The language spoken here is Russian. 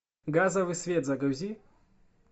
газовый свет загрузи